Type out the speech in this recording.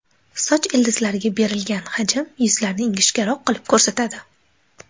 Soch ildizlariga berilgan hajm yuzlarni ingichkaroq qilib ko‘rsatadi.